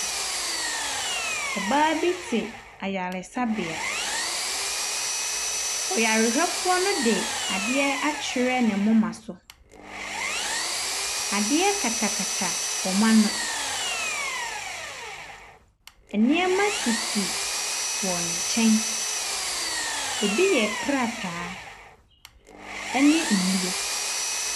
Ɔbaa bi te ayaresabea, ɔyarehwɛfoɔ no de adeɛ akyerɛ ne moma so, adeɛ katakata wɔn ano. Nneɛma sisi wɔn nkyɛn, bi yɛ krataa, ne nnuro.